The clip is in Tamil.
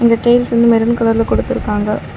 ந் டைல்ஸ் வந்து மெரூன் கலர்ல குடுத்துருக்காங்க.